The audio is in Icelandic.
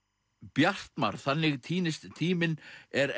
Bjartmar þannig týnist tíminn er